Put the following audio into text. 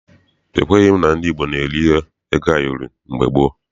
Ekweghị m na ndị Igbo na-eri ego ayọrị mgbe gboo.